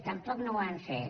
tampoc no ho han fet